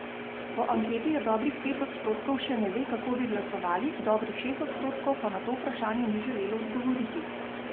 Po anketi jih dobrih pet odstotkov še ne ve, kako bi glasovali, dobrih šest odstotkov pa na to vprašanje ni želelo odgovoriti.